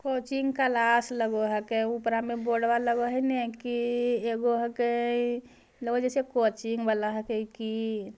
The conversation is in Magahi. कोचिंग क्लास लग है के ऊपरा में बोर्डवा लग है ने की ईगो हके लगे है जैसे कोचिंग वाला हके की |